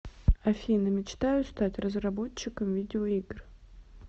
афина мечтаю стать разработчиком видеоигр